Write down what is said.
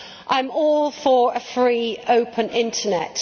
I am all for a free, open Internet.